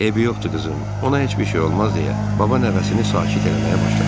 Eybi yoxdur, qızım, ona heç bir şey olmaz deyə baba nəvəsini sakit eləməyə başladı.